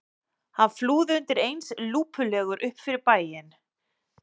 Hann flúði undir eins lúpulegur upp fyrir bæinn.